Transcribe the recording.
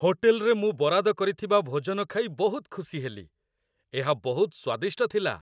ହୋଟେଲରେ ମୁଁ ବରାଦ କରିଥିବା ଭୋଜନ ଖାଇ ବହୁତ ଖୁସି ହେଲି। ଏହା ବହୁତ ସ୍ୱାଦିଷ୍ଟ ଥିଲା।